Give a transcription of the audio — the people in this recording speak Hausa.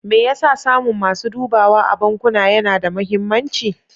Me yasa samun masu dubawa a bankuna yana da mahimmanci?